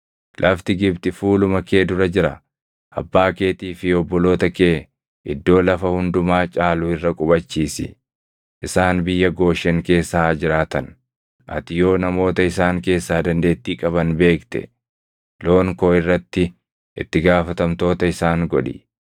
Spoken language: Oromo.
lafti Gibxi fuuluma kee dura jira; abbaa keetii fi obboloota kee iddoo lafa hundumaa caalu irra qubachiisi. Isaan biyya Gooshen keessa haa jiraatan. Ati yoo namoota isaan keessaa dandeettii qaban beekte loon koo irratti itti gaafatamtoota isaan godhi.”